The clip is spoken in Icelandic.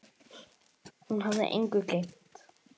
Hún hafði engu gleymt.